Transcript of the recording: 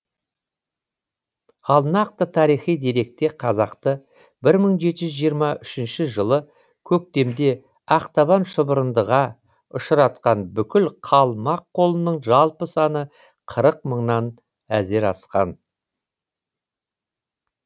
ал нақты тарихи деректе қазақты бір мың жеті жүз жиырма үшінші жылы көктемде ақтабан шұбырындыға ұшыратқан бүкіл қалмақ қолының жалпы саны қырық мыңнан әзер асқан